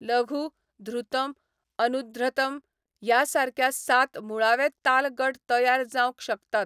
लघु, धृतम्, अनुध्र्तम ह्या सारक्या सात मुळावे ताल गट तयार जावंक शकतात